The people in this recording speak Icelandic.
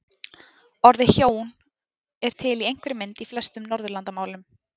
Orðið hjón er til í einhverri mynd í flestum Norðurlandamálum.